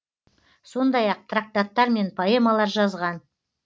сондай ақ трактаттар мен поэмалар жазған